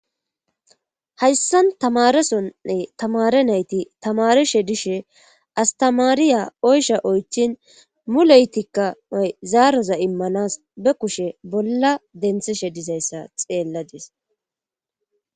Hayssan tamarasonne tamare nayti tamarishe dishe astamaariya oysha oychin muleytikka ay zaaroza immanas be kushe bolla denthishe dizayssa xeelladis.